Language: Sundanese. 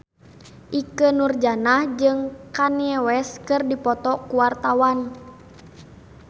Ikke Nurjanah jeung Kanye West keur dipoto ku wartawan